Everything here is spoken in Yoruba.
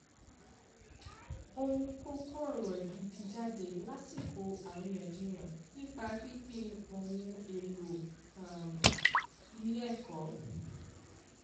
ó mú kókó ọ̀rọ̀ gidi jáde lásìkò àríyànjiyàn nípa pínpín ohun èlò um ilé ẹ̀kọ́